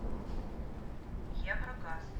еврогаз